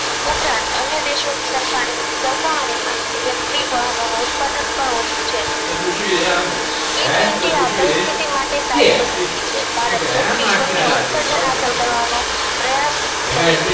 ઉપરાંત અન્ય દેશો ની સરખાની સરખામણી માં ઇલેક્ટ્રિક વાહનોનું ઉત્પાદન પણ ઓછું છે જી twenty આ પરિસ્થિતિ માટે સારી પસંદગી છે ભારત ચોખ્ખી સૂન્ય ઉત્સર્જન હાંસલ કરવાનો પ્રયાસ કરી